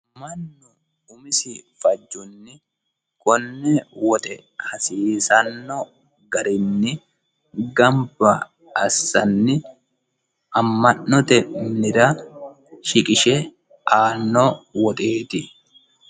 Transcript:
mannu umisi fajjonni konne woxe hasiisanno garinni gamba assanni amma'note minira shiqishe aanno woxeeti